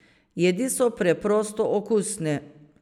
Jedi so preprosto okusne.